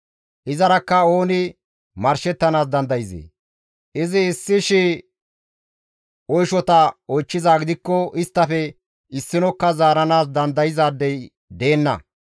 Izarakka ooni marshettanaas dandayzee? Izi issi shii oyshota oychchizaa gidikko isttafe issinokka zaaranaas dandayzaadey deenna.